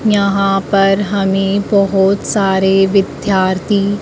यहां पर हमे बहुत सारे विद्यार्थी--